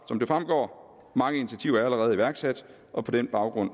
som det fremgår mange initiativer allerede iværksat og på den baggrund